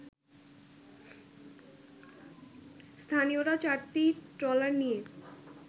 স্থানীয়রা চারটি ট্রলার নিয়ে